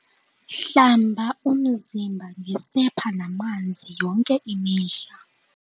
hlamba umzimba ngesepha namanzi yonke imihla